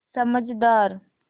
समझदार